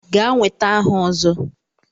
Gaa nweta aha Ozo!